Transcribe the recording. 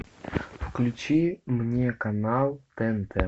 включи мне канал тнт